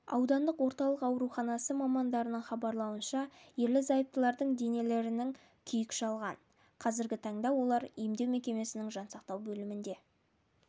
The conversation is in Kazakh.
аудандық орталық ауруханасы мамандарның хабарлауынша ерлі-зайыптылардың денелерінің күйік шалған қазіргі таңда олар емдеу мекемесінің жансақтау бөлімінде